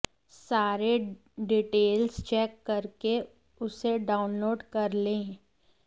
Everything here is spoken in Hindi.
सारे डिटेल्स चेक करके उसे डाउनलोड कर लें